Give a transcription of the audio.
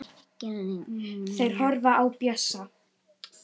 Þeir horfa á Bjössa.